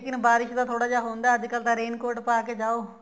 ਲੇਕਿਨ ਬਾਰਿਸ਼ ਦਾ ਥੋੜਾ ਉਹ ਹੁੰਦਾ ਅੱਜਕਲ ਥੋੜਾ raincoat ਪਾ ਕੇ ਜਾਓ